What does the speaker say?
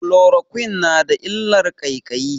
Chloroquine na da illar ƙaiƙayi.